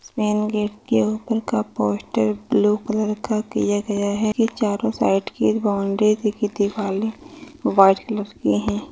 इस main gate के ऊपर का पोस्टर ब्लू कलर का किया गया है ये चारों साइट की एक बाउंड्री व्हाइट कलर की है।